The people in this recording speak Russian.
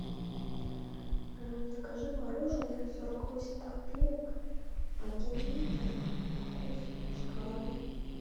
закажи мороженое сорок восемь копеек один литр вкус шоколадный